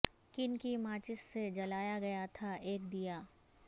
کن کی ماچس سے جلایا گیا تھا ایک دیا